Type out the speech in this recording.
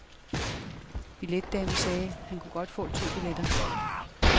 Billetdamen sagde, at han godt kunne få to billetter.